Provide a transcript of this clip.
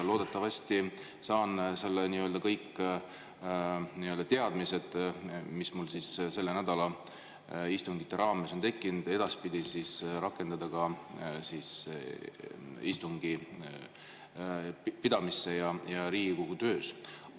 Loodetavasti saan kõiki teadmisi, mis mul selle nädala istungite raames on tekkinud, edaspidi rakendada ka istungitel ja Riigikogu töös.